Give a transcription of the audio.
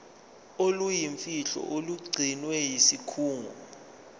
oluyimfihlo olugcinwe yisikhungo